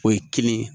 O ye kelen ye